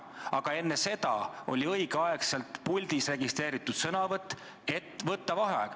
Aga enne seda oli õigel ajal puldis registreeritud sõnavõtusoov, et võtta vaheaeg.